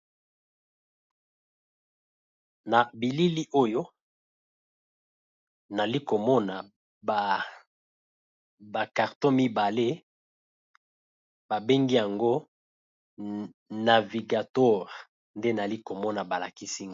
na bilili oyo nali komona bakartos mibale babengi yango navigatore nde nali komona balakisinga